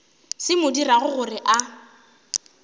se mo dirago gore a